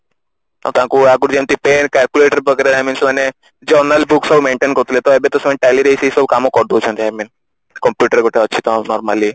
ଆଉ ତାଙ୍କୁ ଆଗୁରୁ ଯେମତି pen calculator ବଗେରା I mean ସେମାନେ journal book ସବୁ maintain କରୁଥିଲେ ତ ଏବେ ତ ସେ Tally ରେ ସେଇସବୁ କାମ କରି ଦଉଛନ୍ତି I mean computer ଗୋଟେ ଅଛିତ normally